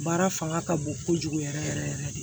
Baara fanga ka bon kojugu yɛrɛ yɛrɛ de